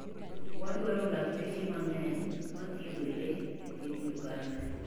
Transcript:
Wadwaro lakteche mang'eny mathiedho le e piny Uganda.